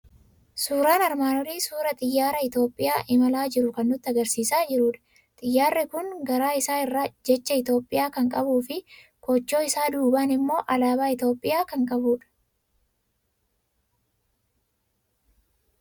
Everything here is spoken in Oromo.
Suuraan armaan olii suuraa xiyyaara Itoophiyaa imalaa jiruu kan nutti argisiisaa jirudha. Xiyyaarri kun garaa isaa irraa jecha Itoophiyaa kan qabuu fi koochoo isaa duubaan immoo alaabaa Itoophiyaa kan qabudha.